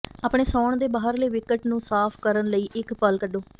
ਆਪਣੇ ਸੌਣ ਦੇ ਬਾਹਰਲੇ ਵਿਕਟ ਨੂੰ ਸਾਫ ਕਰਨ ਲਈ ਇੱਕ ਪਲ ਕੱਢੋ